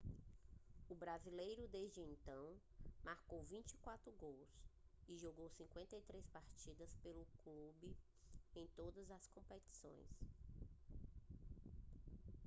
o brasileiro desde então marcou 24 gols e jogou 53 partidas pelo clube em todas as competições